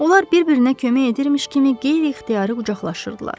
Onlar bir-birinə kömək edirmiş kimi qeyri-ixtiyari qucaqlaşırdılar.